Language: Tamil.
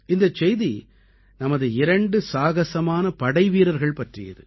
இந்தச் செய்தி நமது இரண்டு சாகசமான படைவீரர்கள் பற்றியது